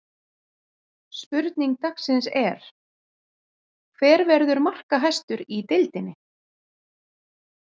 Spurning dagsins er: Hver verður markahæstur í deildinni?